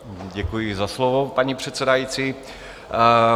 Děkuji za slovo, paní předsedající.